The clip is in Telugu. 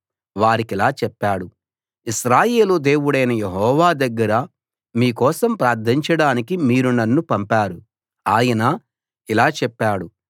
వారికిలా చెప్పాడు ఇశ్రాయేలు దేవుడైన యెహోవా దగ్గర మీ కోసం ప్రార్ధించడానికి మీరు నన్ను పంపారు ఆయన ఇలా చెప్పాడు